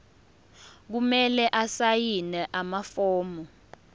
kumele asayine amafomu